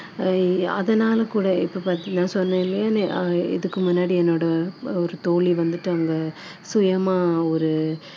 ஆஹ் அதனால கூட இப்போ பாத்~ நான் இதுக்கு முன்னாடி என்னோட தோழி வந்துட்டு அவங்க சுயமா ஒரு